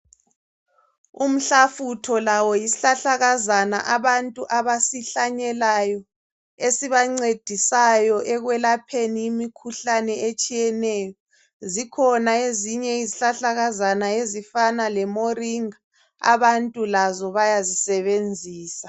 Umhlafutho lawo yisihlahlakazana abantu abasihlanyelayo esibancedisayo ekwelapheni imikhuhlani etshiyeneyo. Zikhona ezinye izihlahlakazana ezifana le moringa abantu lazo bayazisebenzisa.